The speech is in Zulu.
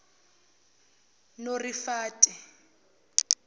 norifate